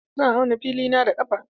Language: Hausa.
Zan auna filina da ƙafa.